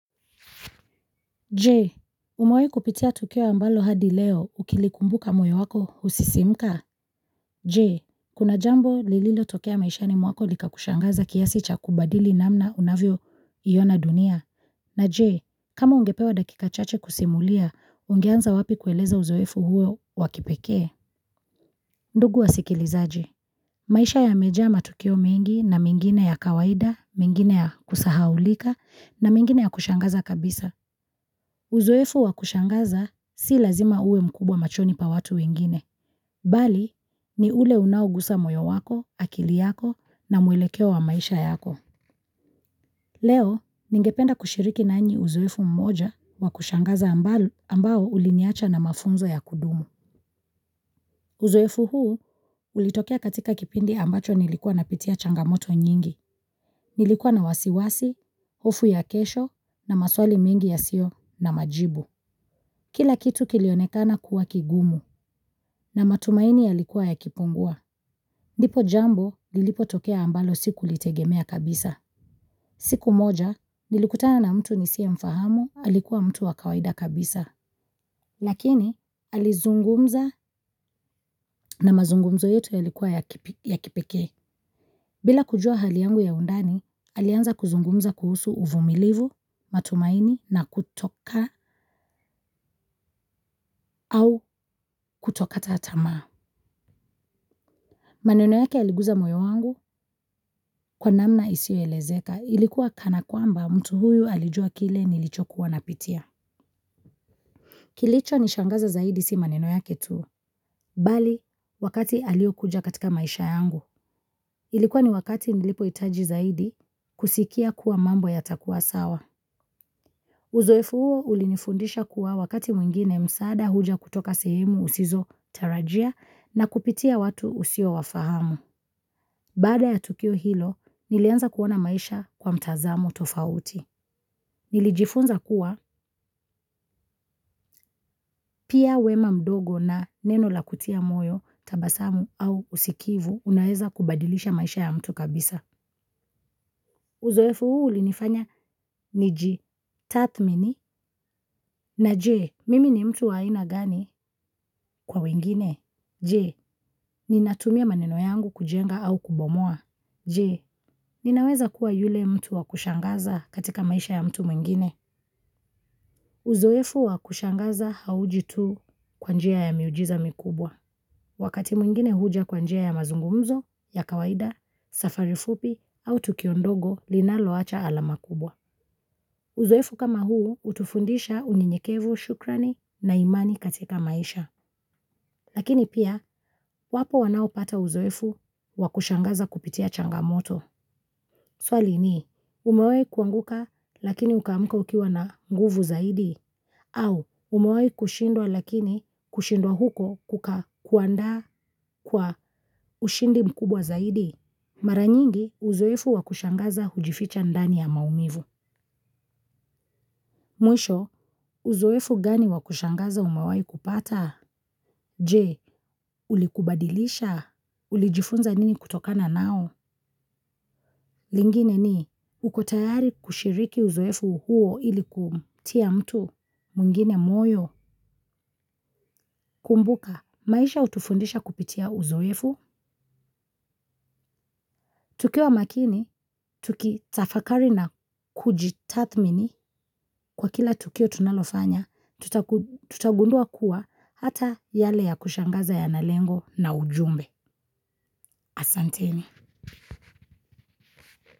Jee, umewahi kupitia tukio ambalo hadi leo ukilikumbuka moyo wako husisimuka? Jee, kuna jambo lililo tokea maishani mwako likakushangaza kiasi cha kubadili namna unavyo iona dunia. Na jee, kama ungepewa dakika chache kusimulia, ungeanza wapi kueleza uzoefu huo wa kipekee? Ndugu wa sikilizaji. Maisha ya mejaa matukio mingi na mingine ya kawaida, mingine ya kusahaulika na mingine ya kushangaza kabisa. Uzoefu wa kushangaza si lazima uwe mkubwa machoni pa watu wengine, bali ni ule unaugusa moyo wako, akili yako na muelekeo wa maisha yako. Leo, ningependa kushiriki nanyi uzoefu mmoja wa kushangaza ambao uliniacha na mafunzo ya kudumu. Uzoefu huu, ulitokea katika kipindi ambacho nilikuwa napitia changamoto nyingi, nilikuwa na wasiwasi, hofu ya kesho na maswali mingi ya sio na majibu. Kila kitu kilionekana kuwa kigumu na matumaini yalikuwa yakipungua. Lipo jambo lilipo tokea ambalo siku litegemea kabisa. Siku moja nilikutana na mtu nisiye mfahamu alikuwa mtu wa kawaida kaabisa. Lakini, alizungumza na mazungumzo yetu ya likuwa ya kipeke. Bila kujua hali yangu ya undani, alianza kuzungumza kuhusu uvumilivu, matumaini na kutoka au kutokata tamaa. Maneno yake aliguza moyo wangu kwa namna isio elezeka ilikuwa kana kwamba mtu huyu alijua kile nilicho kuwa napitia. Kilicho nishangaza zaidi si maneno yake tu. Bali, wakati alio kuja katika maisha yangu. Ilikuwa ni wakati nilipo hitaji zaidi kusikia kuwa mambo yatakuwa sawa. Uzoefu huo ulinifundisha kuwa wakati mwingine msaada huja kutoka sehemu usizo tarajia na kupitia watu usio wafahamu. Baada ya tukio hilo, nilianza kuona maisha kwa mtazamo tofauti. Nilijifunza kuwa, pia wema mdogo na neno la kutia moyo, tabasamu au usikivu, unaeza kubadilisha maisha ya mtu kabisa. Uzoefu huu ulinifanya niji, tathmini, na je, mimi ni mtu wa aina gani kwa wengine? Je, ninatumia maneno yangu kujenga au kubomoa? Je, ninaweza kuwa yule mtu wa kushangaza katika maisha ya mtu mwingine? Uzoefu wa kushangaza hauji tu kwa njia ya miujiza mikubwa, wakati mwingine huja kwa njia ya mazungumzo, ya kawaida, safari fupi au tukio ndogo linaloacha alama kubwa. Uzoefu kama huu hutufindisha unyenyekevu shukrani na imani katika maisha lakini pia, wapo wanaopata uzoefu wa kushangaza kupitia changamoto. Swali ni umewahi kuanguka lakini ukaamka ukiwa na nguvu zaidi au umeshindwa na kushindea huko kukakuandaa kwa ushindi mkubwa zaidi. Mara nyingi, uzoefu wa kushangaza hujificha ndani ya maumivu. Mwisho, uzoefu gani wa kushangaza umawahi kupata? Je, ulikubadilisha? Ulijifunza nini kutokana nao? Lingine ni uko tayari kushiriki uzoefu huo ili kutia mtu wengine moyo, kumbuka. Maisha utufundisha kupitia uzoefu? Tukiwa makini, tuki tafakari na kujitathmini kwa kila tukio tunalofanya, tutagundua kuwa hata yale ya kushangaza yanalengo na ujumbe asanteni.